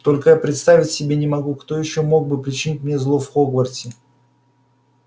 только я представить себе не могу кто ещё мог бы причинить мне зло в хогвартсе